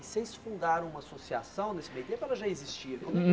E vocês fundaram uma associação nesse meio tempo ou ela já existia?